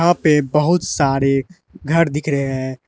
यहाँ पे बहुत सारे घर दिख रहे हैं।